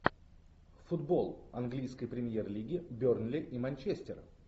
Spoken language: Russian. футбол английской премьер лиги бернли и манчестер